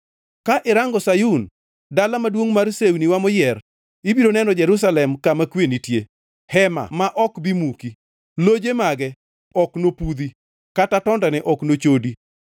Ka irango Sayun, dala maduongʼ mar sewniwa moyier; ibiro neno Jerusalem kama kwe nitie, hema ma ok bi muki; loje mage ok nopudhi, kata tondene ok nochodi.